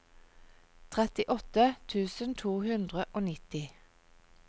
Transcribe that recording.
trettiåtte tusen to hundre og nitti